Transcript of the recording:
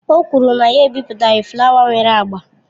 O kwuru na ya ebipụtaghi flaya nwere agba.